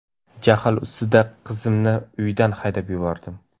Jahl ustida qizimni uydan haydab yubordim.